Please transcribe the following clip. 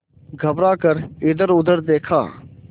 घबरा कर इधरउधर देखा